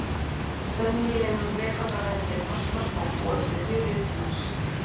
Þó stemningin innan leikvangar verði við frostmark má búast við fjöri utan hans.